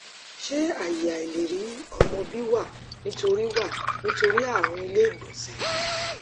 ṣé aye aileri omo bi wa nitori wa nitori arun ile igbonse